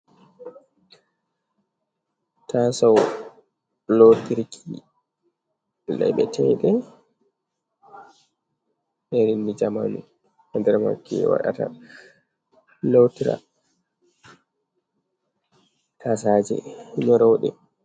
Tasau lotirki laiɓeteɗe irin jei zamanu, nder mai ki waɗata lotira taasaje nyoroɗe.